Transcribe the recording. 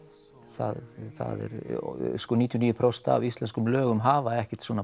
það er sko níutíu og níu prósent af íslenskum lögum hafa ekkert svona